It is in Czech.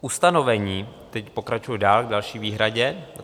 Ustanovení - teď pokračuji dál k další výhradě.